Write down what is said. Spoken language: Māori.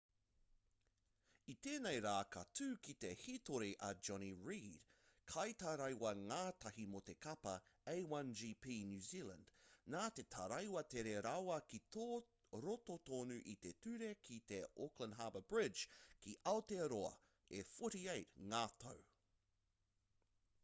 i tēnei rā ka tū ki te hītori a jonny reid kaitaraiwa-ngātahi mō te kapa a1gp new zealand nā te taraiwa tere rawa ki roto tonu i te ture ki te auckland harbour bridge ki aotearoa e 48 ngā tau